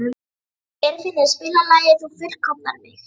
Geirfinnur, spilaðu lagið „Þú fullkomnar mig“.